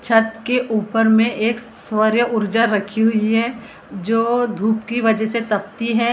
छत के ऊपर में एक सौर्य ऊर्जा रखी हुई है जो धूप की वजह से ताप्ती है। उससे --